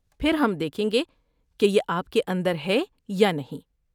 پھر ہم دیکھیں گے کہ یہ آپ کے اندر ہے یا نہیں۔